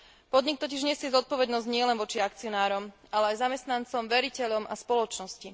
Podnik totiž nesie zodpovednosť nielen voči akcionárom, ale aj voči zamestnancom, veriteľom a spoločnosti.